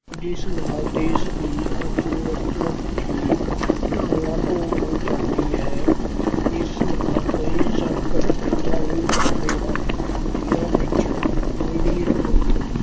ਜਿਸ ਨਾਲ ਦੇਸ਼ ਦੀ ਅਰਥ-ਵਿਵਸਥਾ ਹੀ ਡਾਵਾਂ-ਡੋਲ ਹੋ ਜਾਂਦੀ ਹੈ। ਇਸ ਨਾਲ ਕਈ ਸੰਕਟ ਪੈਦਾ ਹੋ ਜਾਂਦੇ ਹਨ। ਜਿਨ੍ਹਾਂ ਵਿੱਚ ਗ਼ਰੀਬ ਨੂੰ